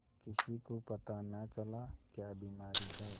किसी को पता न चला क्या बीमारी है